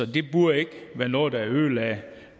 det burde ikke være noget der ødelagde